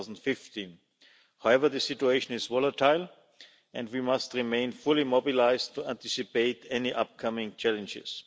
2015. However, the situation is volatile and we must remain fully mobilised to anticipate any upcoming challenges.